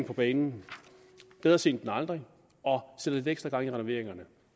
på banen bedre sent end aldrig og sætter lidt ekstra gang i renoveringerne